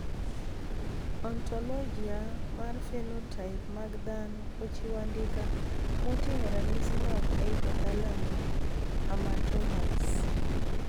Ontologia mar phenotype mag dhano ochiwo andika moting`o ranyisi mag hypothalamic hamartomas.